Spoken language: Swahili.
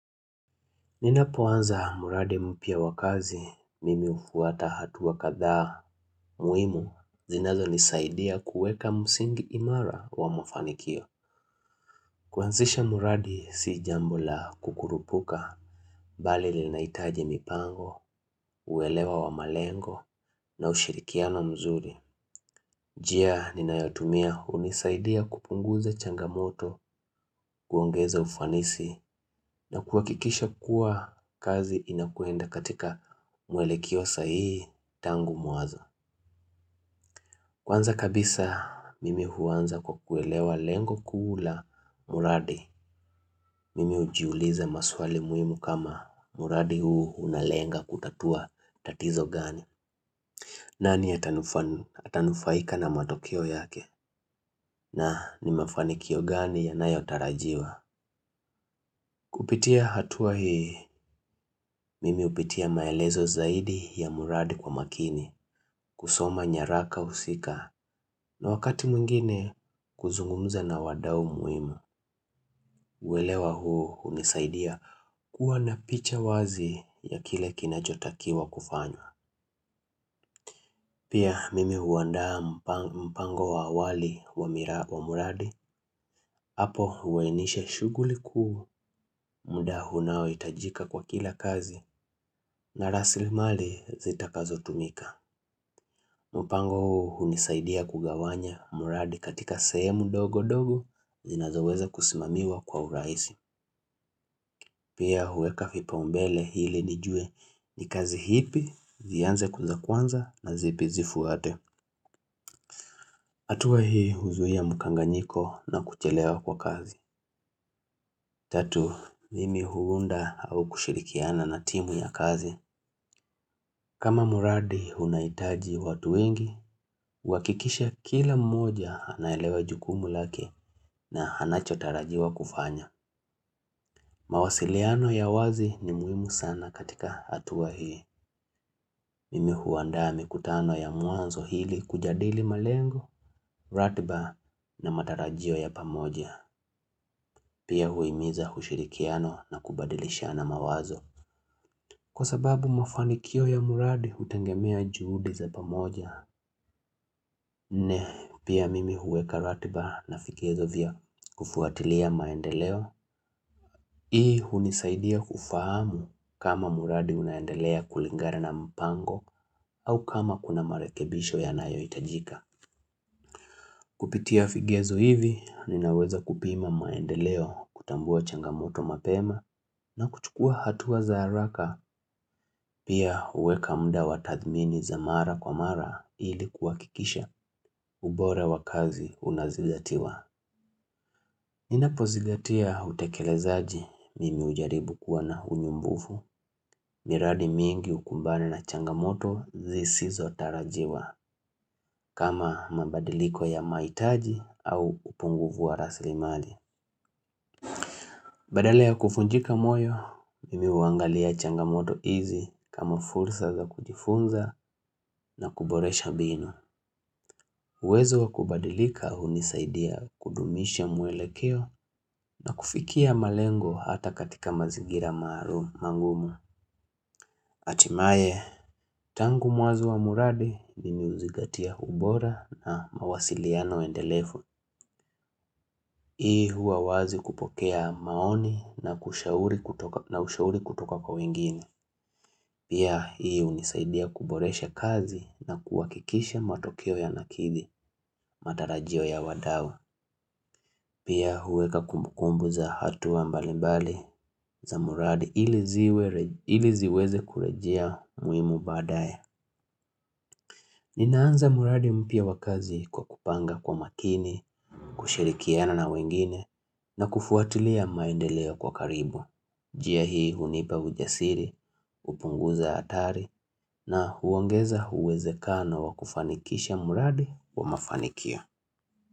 Ninapoanza muradi mpya wa kazi, mimi hufuata hatua kadhaa muhimu zinazonisaidia kuweka msingi imara wa mafanikio. Kuanzisha muradi si jambo la kukurupuka, bali linahitaji mipango, uelewa wa malengo, na ushirikiano mzuri. Jia ninayotumia hunisaidia kupunguza changamoto, kuongeza ufanisi na kuhakikisha kuwa kazi inakwenda katika mwelekeo sahihi tangu mwanzo. Kwanza kabisa mimi huanza kwa kuelewa lengo kuu la muradi. Mimi hujiuliza maswali muhimu kama muradi huu unalenga kutatua tatizo gani. Nani atanufan atanufaika na matokeo yake na ni mafanikio gani yanayotarajiwa Kupitia hatua hii mimi hupitia maelezo zaidi ya muradi kwa makini kusoma nyaraka husika na wakati mwingine kuzungumza na wadau muhimu uelewa huu hunisaidia kuwa na picha wazi ya kile kinachotakiwa kufanywa Pia mimi huandaa mpang mpango wa awali wa muradi Apo huweinishe shughuli kuu, muda hunaohitajika kwa kila kazi na rasili mali zitakazo tumika. Mupango hunisaidia kugawanya muradi katika sehemu dogo dogo zinazoweza kusimamiwa kwa urahisi. Pia huweka fipaombele ili nijue ni kazi hipi, zianze ku za kwanza na zipi zifuate. Atuwa hii huzuia mukanganyiko na kuchelewa kwa kazi. Tatu, mimi huunda au kushirikiana na timu ya kazi. Kama muradi hunaitaji watu wengi, uwakikishe kila mmoja anaelewa jukumu lake na hanachotarajiwa kufanya. Mawasiliano ya wazi ni muhimu sana katika atuwa hii. Mimi huandaa mikutano ya muanzo hili kujadili malengo, ratiba na matarajio ya pamoja. Pia huhimiza ushirikiano na kubadilishana mawazo. Kwa sababu mafanikio ya muradi utengemea juhudi za pamoja, ne pia mimi huweka ratiba na vigezo vya kufuatilia maendeleo. Hii hunisaidia kufahamu kama muradi unaendelea kulingana na mpango au kama kuna marekebisho yanayohitajika. Kupitia vigezo hivi, ninaweza kupima maendeleo kutambua changamoto mapema na kuchukua hatua za haraka pia huweka mda wa tadhmini za mara kwa mara ili kuhakikisha ubora wa kazi unazingatiwa. Ninapozingatia utekelezaji mimi hujaribu kuwa na unyumbufu miradi mingi ukumbane na changamoto zisizotarajiwa kama mabadiliko ya mahitaji au upungufu wa rasilimali. Badala ya kufunjika moyo, nimi huangalia changamoto hizi kama fursa za kujifunza na kuboresha binu. Uwezo wa kubadilika hunisaidia kudumisha muelekeo na kufikia malengo hata katika mazingira maalum mangumu. Atimaye, tangu mwanzo wa muradi mimi huzingatia ubora na mawasiliano endelefu. Hii huwa wazi kupokea maoni na kushauri na ushauri kutoka kwa wengine. Pia hii hunisaidia kuboresha kazi na kuhakikisha matokeo yanakidhi, matarajio ya wadau. Pia huweka kumbukumbu za hatua mbalimbali za muradi ili ziwe iliziweze kurejia muhimu baadaye. Ninaanza muradi mpya wakazi kwa kupanga kwa makini, kushirikiana na wengine na kufuatilia maendeleo kwa karibu. Jia hii hunipa ujasiri, hupunguza hatari na huongeza uwezekano wa kufanikisha muradi wa mafanikio.